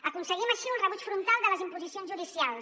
aconseguim així un rebuig frontal de les imposicions judicials